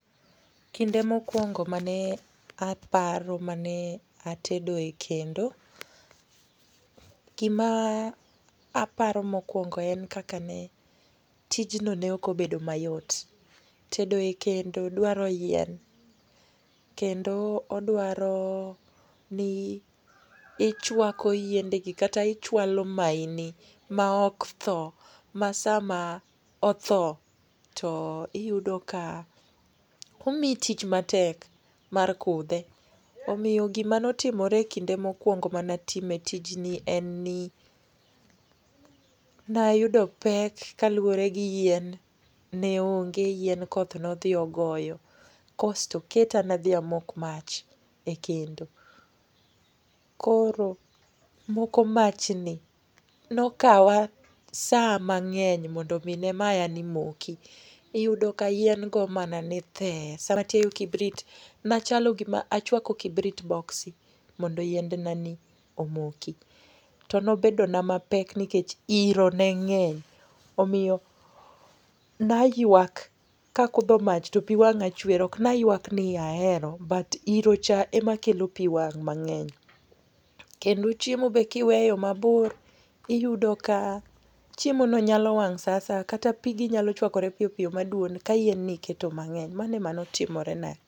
Kinde mokuongo mane aparo mane atedo e kendo, gima aparo mokuongo en kaka ne tijno neokobedo mayot. Tedo e kendo dwaro yien kendo odwaro ni ichuako yiendegi kata ichualo maini ma oktho ma sama otho to iyudo ka omii tich matek mar kudhe. Omiyo gima notimore e kinde mokuongo manatime tijni en ni nayudo pek kaluore gi yien neonge ,yien koth nodhi ogoyo kasto oketani adhi amok mach e kendo, koro moko machni nokawa saa mang'eny mondo mii ne mayani moki. Iyudo ka yien goo manani thee sama atiayo kibrit, nachalo gima achwako kibrit boxi mondo yiendnani omoki. To nobedona mapek nikech iro neng'eny omiyo nayuak, kakudho mach to pii wang'a chuer'okni ayuak ni ahero but irocha ema kelo pii wang' mang'eny kendo chiemo be kiweyo mabor tiyudo ka chiemono nyalo wang' saa asaya kata pigi nyalo chwakore piyo piyo maduon ka yien niketo mang'eny. Mano ema notimorena.